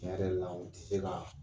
Tiɲɛ yɛrɛ la u tɛ se ka